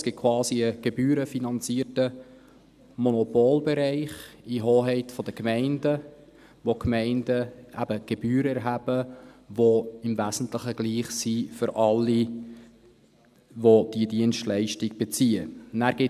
Es gibt quasi einen gebührenfinanzierten Monopolbereich in der Hoheit der Gemeinden, in dem die Gemeinden eben Gebühren erheben, die im Wesentlichen für alle, die diese Dienstleistung beziehen, gleich sind.